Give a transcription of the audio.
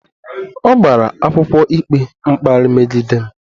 Ọ gbara akwụkwọ ikpe mkparị megide m